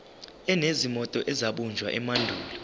enezinto ezabunjwa emandulo